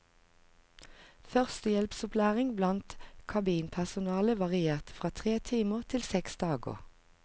Førstehjelpsopplæring blant kabinpersonale varierte fra tre timer til seks dager.